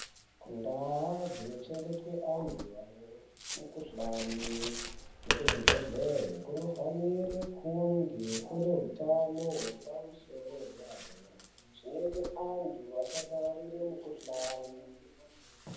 Ndaa dzinochengetwe antu anomukhuhlani wekuzvibhelera kunofanire kunge kune utano hwepamusoro paderadera, zvinoita antu..asapararire mukuhlani..